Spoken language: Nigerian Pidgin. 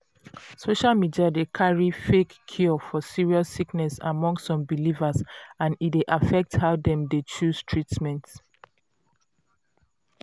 social media dey carry fake cure for serious sickness among some believers and e dey affect how dem dey choose treatment.